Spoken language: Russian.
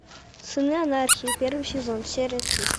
сыны анархии первый сезон серия тридцать